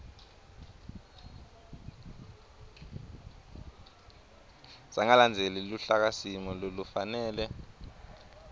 sangalandzeli luhlakasimo lolufanele